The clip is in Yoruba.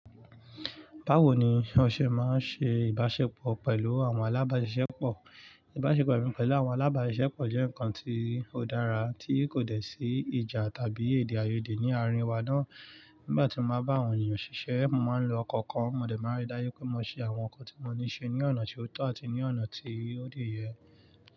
Báwo ni ọṣẹ máa ń ṣe ìbáṣepọ̀ pẹ̀lú àwọn alábàáṣiṣẹ́pọ̀? Ìbáṣepọ̀ mi pẹ̀lú àwọn alábàáṣiṣẹ́pọ̀ jẹ́ ǹkan tí ó dára, tí kò dẹ̀ sí ìjà tàbí èdèàìyedè ní àárín wa ná. Nígbà tí mo bá ń bá àwọn ènìyàn ṣiṣẹ́, mo máa ń lo ọkọ̀ kan. Mọ̀dẹ̀ máa ń rí dáyé pé mo ṣe àwọn nǹkan tí mo níṣe ní ọ̀nà tí ó tọ́ àti ní ọ̀nà tí ó dè ẹ́.